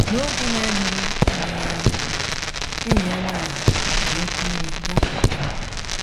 N’oge na - adịghị adịghị anya, enyi ya nwanyị ji oké iwe bịakwute m.